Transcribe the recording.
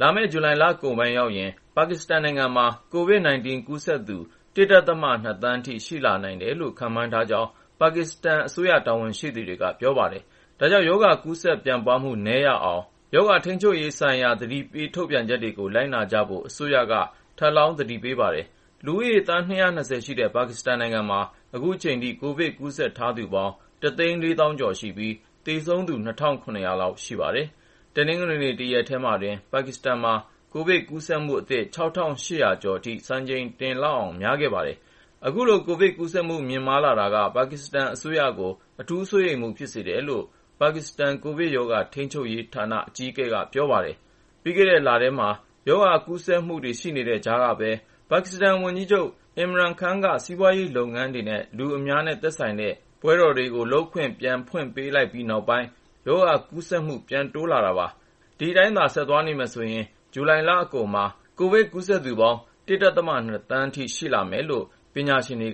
လာမယ့် ဇူလိုင်လကုန်ပိုင်း ရောက်ရင် ပါကစ္စတန်နိုင်ငံမှာ COVID-19 ကူးစက်သူ ၁.၂ သန်းထိ ရှိလာနိုင်တယ်လို့ ခန့်မှန်းကြောင်း ပါကစ္စတန်အစိုးရ တာဝန်ရှိသူတွေက ပြောပါတယ်။ ဒါကြောင့် ကူးစက်ပြန့်ပွားမှု နည်းရအောင် ရောဂါကာကွယ်ရေးဆိုင်ရာ သတိပေး ထုတ်ပြန်ချက်တွေကို လိုက်နာကြဖို့ အစိုးရက ထပ်လောင်း သတိပေးထားပါတယ်။ လူဦးရေ သန်း ၂၂၀ ရှိတဲ့ ပါကစ္စတန်နိုင်ငံမှာ အခုချိန်ထိ ကိုဗစ်ကူးစက်ထားသူပေါင်း ၁၄၀,၀၀၀ ကျော်ရှိပြီး သေဆုံးသူ ၂,၇၀၀ လောက် ရှိပါတယ်။ တနင်္ဂနွေ တရက်တည်းမှာတင် ပါကစ္စတန်မှာ ကိုဗစ်ကူးစက်မှုအသစ် ၆,၈၀၀ ကျော်အထိ စံချိန်တင်လောက်အောင် များပြားခဲ့ပါတယ်။ အခုလို ကိုဗစ်ကူးစက်မှု မြင့်မားလာတာက ပါကစ္စတန်အစိုးရကို အထူးစိုးရိမ်မှု ဖြစ်စေတယ်လို့ ပါကစ္စတန် ကိုဗစ်ရောဂါထိန်းချုပ်ရေးဌာန NCOC အကြီးအကဲ Asad Umar က ပြောပါတယ်။ ပြီးခဲ့တဲ့လထဲ ရောဂါကူးစက်မှုတွေ ရှိနေတဲ့ကြားကပဲ ပါကစ္စတန်ဝန်ကြီးချုပ် Imran Khan က စီးပွားရေးလုပ်ငန်းတွေနဲ့ လူအများနဲ့ သက်ဆိုင်တဲ့ ပွဲတွေကို လုပ်ကိုင်ခွင့် ပြန်ဖွင့်ပေးလိုက်ပြီးနောက်ပိုင်း ရောဂါကူးစက်မှု ပြန်တိုးလာတာပါ။ ဒီအတိုင်းသာ ဆက်သွားနေရင် ဇူလိုင်လအကုန်မှာ ကိုဗစ်ကူးစက်လူနာ ၁.၂ သန်းထိ ရှိလာမယ်လို့ ပညာရှင်တွေ